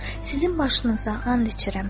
Sizin başınıza and içirəm.